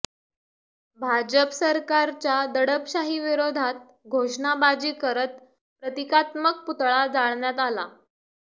भाजप सरकारच्या दडपशाही विरोधात घोषणाबाजी करत प्रतिकात्मक पुतळा जाळण्यात आला